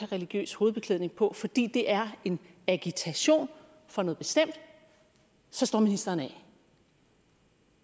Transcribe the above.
religiøs hovedbeklædning på fordi det er en agitation for noget bestemt så står ministeren af